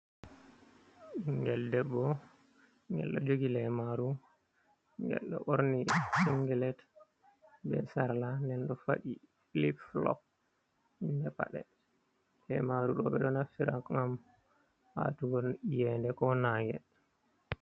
Ɓingel debbo ngel do jogi lemaru, ngel ɗo ɓorni singilet be sarla, nden đo faɗi lip fulop inde padde, lemaru doɓeɗo naftira gam atugo yende ko nage.